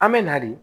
An bɛ na de